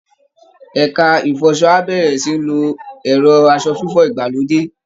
Ẹ̀ka ìfọṣọ á bẹ̀rẹ̀ sí í lo ẹ̀rọ aṣọ fífọ̀ ìgbàlódé